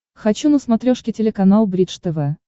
хочу на смотрешке телеканал бридж тв